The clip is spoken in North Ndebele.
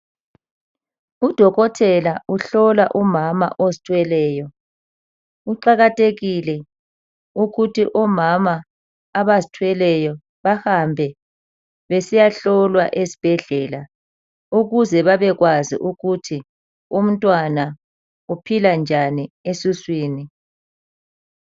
Udokotela uhlola umama ozithweleyo. Kuqakathekile ukuthi omama abazithweleyo bahambe besiyahlolwa esibhedlela ukuze babekwazi ukuthi umntwana uphila njani esiswini.